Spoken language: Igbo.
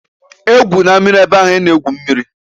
E gwụna mmiri na-ebe ahụ a na-egwu mmiri!